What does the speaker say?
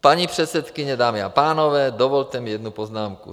Paní předsedkyně, dámy a pánové, dovolte mi jednu poznámku.